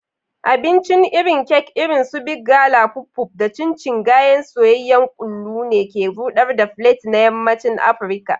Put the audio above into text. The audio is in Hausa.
Abincin irin kek irin su Big Gala (puff-puff) da chin-chin (gayan soyayyen kullu) ne ke ruɗar palates na yammacin Afirka.